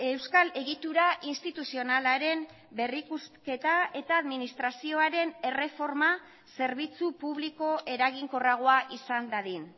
euskal egitura instituzionalaren berrikusketa eta administrazioaren erreforma zerbitzu publiko eraginkorragoa izan dadin